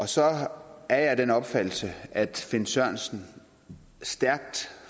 så er jeg af den opfattelse at finn sørensen stærkt